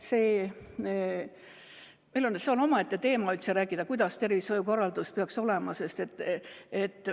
See on üldse omaette teema, milline tervishoiukorraldus peaks olema.